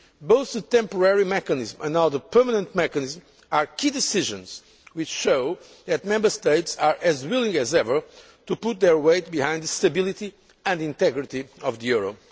euro. Both the temporary mechanism and now the permanent mechanism are key decisions which show that Member States are as willing as ever to put their weight behind the stability and integrity of the